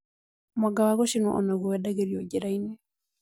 Mwanga wa gũcĩnwo onaguo wendagĩrio njĩrainĩ